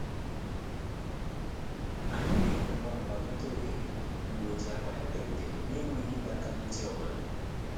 Anyị mere ngwa ngwa meta ohere mgbe o ji akpa ya bịarutere n'enweghị ịdọ aka ná ntị ọ bụla.